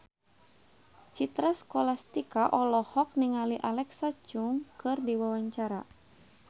Citra Scholastika olohok ningali Alexa Chung keur diwawancara